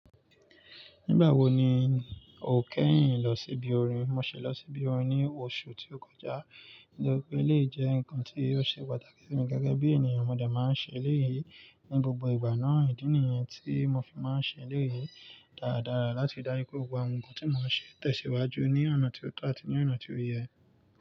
Nígbà wo ni o kẹ́yìn lọ síbi orin? Mo ṣẹ lọ síbi orin ní oṣù tí ó kọjá nítorí pé eleyi jẹ́ ǹkan tí ó ṣe pàtàkì fún mi gẹ́gẹ́ bí ènìyàn. Mo de máa ń ṣe eléyìí ní gbogbo ìgbà náà. Ìdí nìyẹn tí mo fi máa ń ṣe eléyìí dáradára láti ri daju pe gbogbo àwọn ǹkan tí mo n ṣe tẹ̀síwájú ní ọ̀nà tí ó tọ́ àti ní ọ̀nà tí ó yẹ.